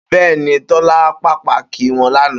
Bé̩è̩ ni, Tó̩lá pàápàá kí wo̩n lánàá